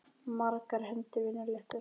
Margar hendur vinna létt verk.